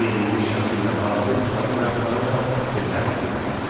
Verilmiş şəkillə bağlı müzakirə apararaq fikirlərinizi bildirin.